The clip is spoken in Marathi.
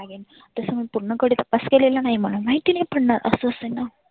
तस मला पुर्ण कडे माहिती नाही पण अस असेलना.